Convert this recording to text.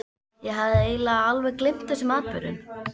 Ég hafði eiginlega alveg gleymt þessum atburðum.